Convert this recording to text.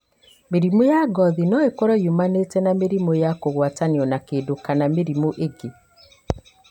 Mĩrimũ ya ngothi no ĩkorũo yumanĩte na mĩrimũ ya kũgwatanio na kĩndũ kana mĩrimũ ĩngĩ.